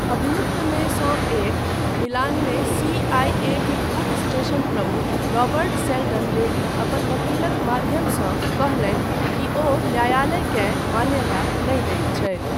अभियुक्तमे सँ एक, मिलानमे सी.आई.ए.के पूर्व स्टेशन प्रमुख, रॉबर्ट सेल्डन लेडी अपन वकीलक माध्यमसँ कहलनि कि ओ न्यायलयकेँ मान्यता नहि दैत छथि।